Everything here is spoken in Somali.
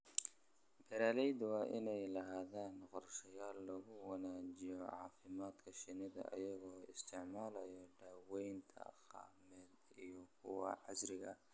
Beeralayda waa inay lahaadaan qorshayaal lagu wanaajinayo caafimaadka shinnida iyagoo isticmaalaya daawaynta dhaqameed iyo kuwa casriga ah.